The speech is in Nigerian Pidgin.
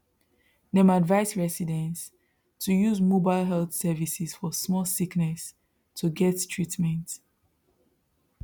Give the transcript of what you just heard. dem advise residents to use mobile health services for small sickness to get treatment